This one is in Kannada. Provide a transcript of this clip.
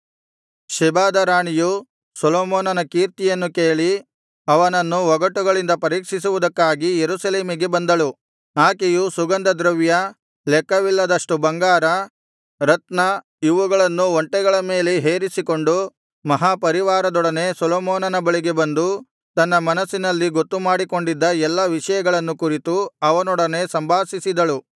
ಶೆಬಾದ ರಾಣಿಯು ಸೊಲೊಮೋನನ ಕೀರ್ತಿಯನ್ನು ಕೇಳಿ ಅವನನ್ನು ಒಗಟುಗಳಿಂದ ಪರೀಕ್ಷಿಸುವುದಕ್ಕಾಗಿ ಯೆರೂಸಲೇಮಿಗೆ ಬಂದಳು ಆಕೆಯು ಸುಗಂಧದ್ರವ್ಯ ಲೆಕ್ಕವಿಲ್ಲದಷ್ಟು ಬಂಗಾರ ರತ್ನ ಇವುಗಳನ್ನು ಒಂಟೆಗಳ ಮೇಲೆ ಹೇರಿಸಿಕೊಂಡು ಮಹಾ ಪರಿವಾರದೊಡನೆ ಸೊಲೊಮೋನನ ಬಳಿಗೆ ಬಂದು ತನ್ನ ಮನಸ್ಸಿನಲ್ಲಿ ಗೊತ್ತು ಮಾಡಿಕೊಂಡಿದ್ದ ಎಲ್ಲಾ ವಿಷಯಗಳನ್ನು ಕುರಿತು ಅವನೊಡನೆ ಸಂಭಾಷಿಸಿದಳು